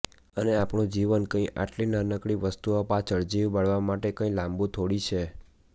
અને આપણું જીવન કંઈ આટલી નાનકડી વસ્તુઓ પાછળ જીવ બાળવ માટે કંઈ લાંબુ થોડી છે